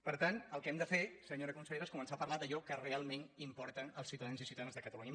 per tant el que hem de fer senyora consellera és començar a parlar d’allò que realment importa als ciutadans i ciutadanes de catalunya